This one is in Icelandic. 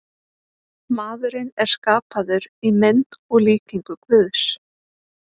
Maðurinn er skapaður í mynd og líkingu Guðs.